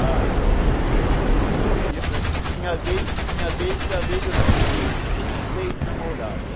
Ah, eu nunca eu tinha vez tinha vez que às vezes eu tinha cinco, seis namoradas.